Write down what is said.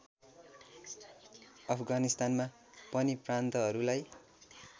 अफगानिस्तानमा पनि प्रान्तहरूलाई